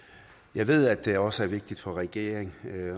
jeg ved at det også er vigtigt for regeringen at